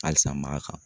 Halisa mara kan